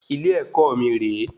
Ilé-èkó mí rè é